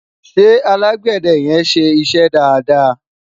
ṣé alágbède yen ṣé iṣẹ dada?